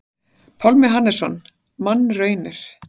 Pálmi Hannesson: Mannraunir.